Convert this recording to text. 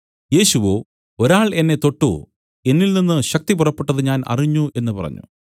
യേശുവോ ഒരാൾ എന്നെ തൊട്ടു എന്നിൽനിന്ന് ശക്തി പുറപ്പെട്ടത് ഞാൻ അറിഞ്ഞ് എന്നു പറഞ്ഞു